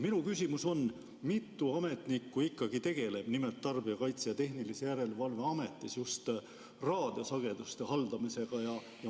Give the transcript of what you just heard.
Minu küsimus on, mitu ametnikku tegeleb Tarbijakaitse ja Tehnilise Järelevalve Ametis raadiosageduste haldamisega.